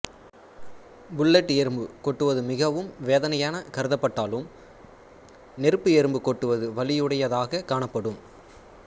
bullet எறும்பு கொட்டுவது மிகவும் வேதனையான கருதப்பட்டாலும் நெருப்பு எறும்பு கொட்டுவது வலியுடையதாகக் காணப்படும்